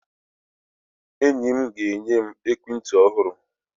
Enyi m ga-enye m ekwentị ọhụrụ.